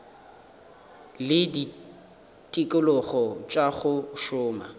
le ditikologo tša go šoma